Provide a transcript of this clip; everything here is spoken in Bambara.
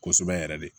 Kosɛbɛ yɛrɛ de